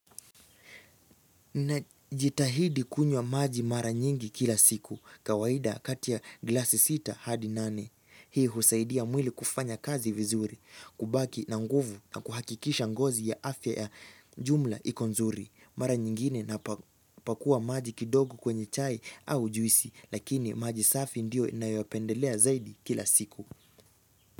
Na jitahidi kunywa maji mara nyingi kila siku, kawaida kati ya glasi sita hadi nane. Hii husaidia mwili kufanya kazi vizuri, kubaki na nguvu na kuhakikisha ngozi ya afya ya jumla iko nzuri. Mara nyingine napaku pakua maji kidogo kwenye chai au juisi, lakini maji safi ndio ninayoyapendelea zaidi kila siku.